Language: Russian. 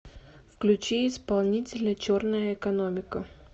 включи исполнителя черная экономика